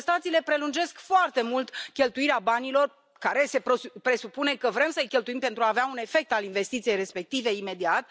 Contestațiile prelungesc foarte mult cheltuirea banilor pe care se presupune că vrem să i cheltuim pentru a avea un efect al investiției respective imediat.